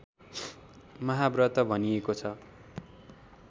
महाव्रत भनिएको छ